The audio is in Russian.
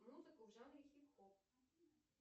музыку в жанре хип хоп